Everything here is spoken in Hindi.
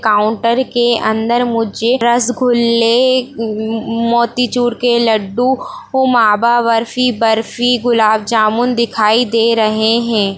काउंटर के अंदर मुझे रसगुल्ले म--मोतीचूर के लड्डू मावा बर्फी बर्फी गुलाब जामुन दिखाई दे रहे हैं।